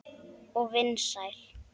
Og vinsæl.